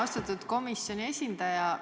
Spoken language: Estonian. Austatud komisjoni esindaja!